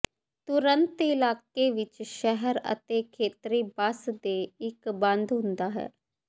ਤੁਰੰਤ ਇਲਾਕੇ ਵਿਚ ਸ਼ਹਿਰ ਅਤੇ ਖੇਤਰੀ ਬੱਸ ਦੇ ਇੱਕ ਬੰਦ ਹੁੰਦਾ ਹੈ